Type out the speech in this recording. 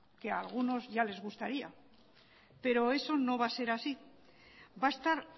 que a algunos ya les gustaría pero eso no va a ser así va a estar